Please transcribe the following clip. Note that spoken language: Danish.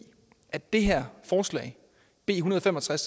at det her forslag b en hundrede og fem og tres